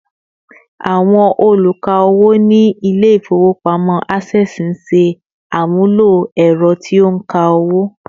Àwọn oluka owó ni ile ifowopamọ Access ńṣe àmúlò ęrọ tí ó nka owo